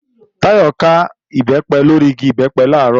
Táyọ̀ ká Ìbẹ́pẹ lórí igi Ìbẹ́pẹ làárọ̀